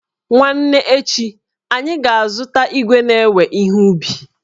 Nwanne echi, anyị ga-azụta igwe na-ewe ihe ubi